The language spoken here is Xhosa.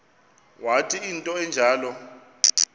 wathi into enjalo